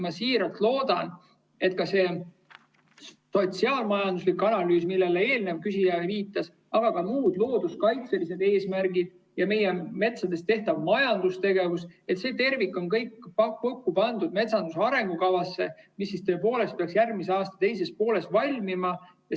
Ma siiralt loodan, et ka see sotsiaal-majanduslik analüüs, millele eelnev küsija viitas, aga ka muud looduskaitselised eesmärgid ja meie metsas toimuv majandustegevus, kogu see tervik saab kokku pandud metsanduse arengukavasse, mis peaks järgmise aasta teises pooles valmima.